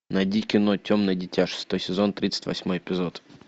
найди кино темное дитя шестой сезон тридцать восьмой эпизод